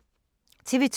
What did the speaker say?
TV 2